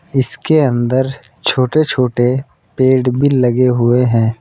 इसके अंदर छोटे छोटे पेड़ भी लगे हुए हैं।